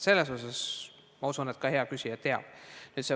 Seda, ma usun, ka hea küsija teab.